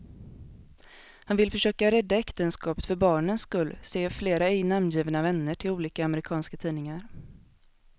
Han vill försöka rädda äktenskapet för barnens skull, säger flera ej namngivna vänner till olika amerikanska tidningar.